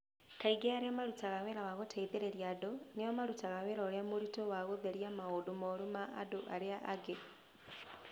Kaingĩ arĩa marutaga wĩra wa gũteithĩrĩria andũ nĩo marutaga wĩra ũria mũritũ wa gũtheria maũndũ moru ma andũ arĩa angĩ.